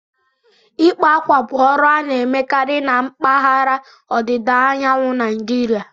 Ịkpa akwa bụ ọrụ a na-emekarị na mpaghara ọdịda anyanwụ Naijiria